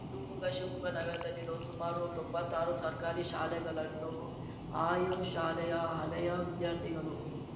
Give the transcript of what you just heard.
ಶಿವಮೊಗ್ಗ ಶಿವಮೊಗ್ಗ ನಗರದಲ್ಲಿರುವ ಸುಮಾರು ತೊಂಬತ್ತಾರು ಸರ್ಕಾರಿ ಶಾಲೆಗಳನ್ನು ಆಯಾ ಶಾಲೆಯ ಹಳೆಯ ವಿದ್ಯಾರ್ಥಿಗಳು